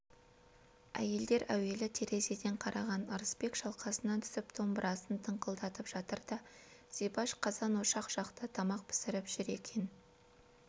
әйелдер әуелі терезеден қараған ырысбек шалқасынан түсіп домбырасын тыңқылдатып жатыр да зибаш қазан-ошақ жақта тамақ пісіріп жүр екен